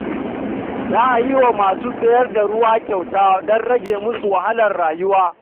Za a yi wa masu sayar da ruwa kyauta don rage musu wahalar rayuwa.